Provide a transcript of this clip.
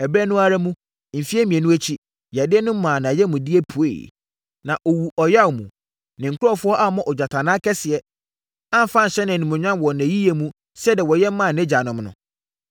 Ɛberɛ no mu ara, mfeɛ mmienu akyi, yadeɛ no maa nʼayamdeɛ pueeɛ, na ɔwuu ɔyea mu. Ne nkurɔfoɔ ammɔ ogyatannaa kɛseɛ, amfa anhyɛ no animuonyam wɔ nʼayiyɛ mu sɛdeɛ wɔyɛ maa nʼagyanom no.